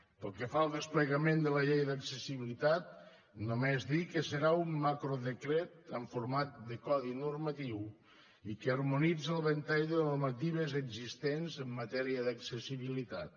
pel que fa al desplegament de la llei d’accessibilitat només dir que serà un macrodecret amb format de codi normatiu i que harmonitza el ventall de normatives existents en matèria d’accessibilitat